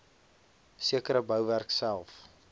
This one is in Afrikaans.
sekere bouwerk self